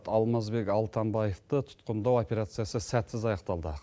алмазбек алтамбаевты тұтқындау операциясы сәтсіз аяқталды